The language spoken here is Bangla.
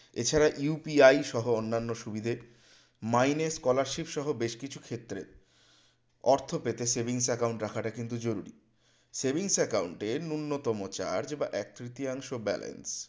এছাড়া UPI সহ অন্যান্য সুবিধে মাইনে scholarship সহ বেশকিছু ক্ষেত্রে অর্থ পেতে savings account রাখাটা কিন্তু জরুরি savings account এ ন্যূনতম charge বা এক তৃতীয়াংশ balance